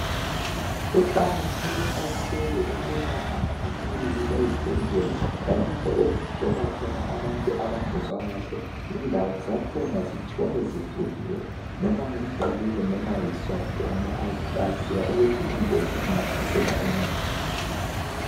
Kuqakatheke kakhulu ukuthi amakiliniki lezibhedlela lalapho okuhlolwa khona abantu abangezwa kuhle indawo zakhona zihlale zivuliwe, loba ngomgqibelo loba ngesonto ngoba akwaziwa ukuthi ingozi ingahlasela nini abantu.